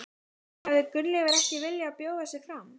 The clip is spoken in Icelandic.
En hefði Gunnleifur ekki viljað bjóða sig fram?